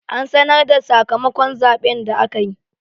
An sanar da sakamakon zaɓen da aka yi.